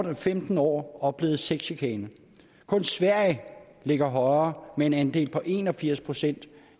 var femten år oplevet sexchikane kun sverige ligger højere med en andel på en og firs procent